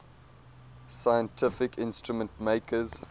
scientific instrument makers